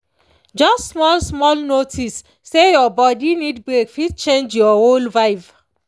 just small-small notice say your body need break fit change your whole vibe.